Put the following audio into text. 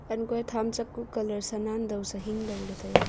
han kua tham chak ku colour se nan dow kya se hing dow tai a.